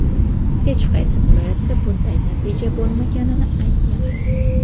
hech qaysi viloyatda bunday natija bo‘lmaganini aytgan.